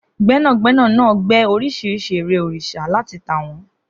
Gbẹ́nàgbẹ́nà náà gbẹ́ oríṣiríṣi ère òrìṣà láti tà wọ́n